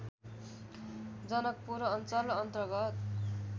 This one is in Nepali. जनकपुर अञ्चल अन्तर्गत